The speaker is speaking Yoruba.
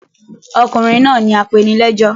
Ọkùnrin náà ni apenilẹ́jọ́.